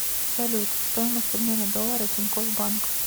салют стоимость обмена доллара тинькофф банк